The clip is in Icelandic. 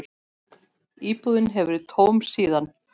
Íbúðin hefur verið tóm síðan.